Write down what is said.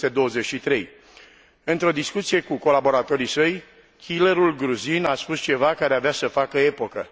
1923. Într o discuție cu colaboratorii săi, killerul gruzin a spus ceva care avea să facă epocă.